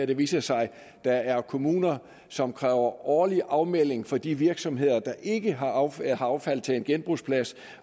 det viser sig at der er kommuner som kræver årlig afmelding for de virksomheder der ikke har affald affald til en genbrugsplads